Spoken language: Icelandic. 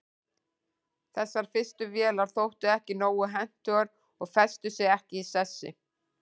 þessar fyrstu vélar þóttu ekki nógu hentugar og festu sig ekki í sessi